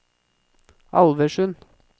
Alversund